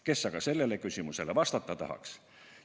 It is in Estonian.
Kes aga sellele küsimusele vastata tahaks?